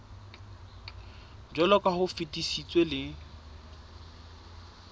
jwaloka ha o fetisitswe le